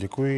Děkuji.